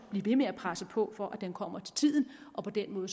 blive ved med at presse på for at den kommer til tiden og på den